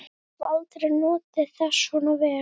Ég hef aldrei notið þess svona vel.